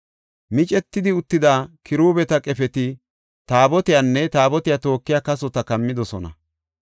Micetidi uttida kiruubeta qefeti taabotiyanne taabotiya tookiya kasota kammidosona.